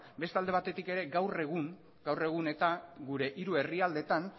beste alde batetik ere gaur egun gure hiru herrialdeetan